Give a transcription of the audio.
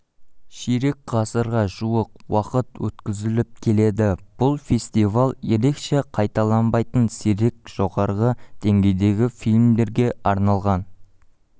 ширек ғасырға жуық уақыт өткізіліп келеді бұл фестиваль ерекше қайталанбайтын сирек жоғары деңгейдегі фильмдерге арналған